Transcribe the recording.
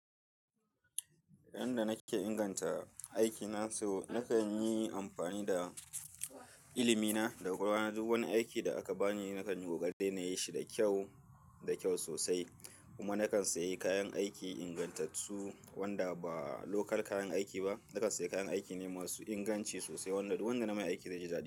Yanda nake inganta aiki na so nakan yi amfani da ilimi na, da kwakwalwana duk wani aiki da aka bani nakan yi ƙoƙari na yi shi da kyau, da kyau sosai. Kuma na kan sayi kayan aiki ingantattu wanda ba lokal kayan aiki ba. Na kan sayi kayan aiki ne masu inganci sosai wanda, duk wanda na mai aiki da zai ji daɗi.